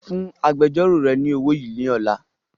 Fún agbẹjọ́ró rẹ ni owó yìí ni ọ̀la!